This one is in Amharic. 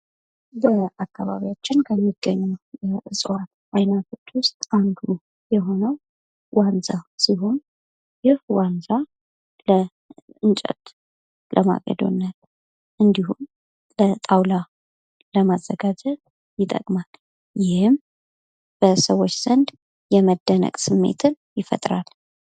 በአካባቢያችን ከሚገኙ እፅዋት አይነቶች ውስጥ አንዱ የሆነው ዋንዛ ሲሆን ይህ ዋንዛ ለእንጨት፣ ለማገዶነት እንዲሁም ለጣውላ ለማዘጋጀት ይጠቅማል ።ይህም በሰዎች ዘንድ የመደነቅ ስሜትን ይፈጥራል ።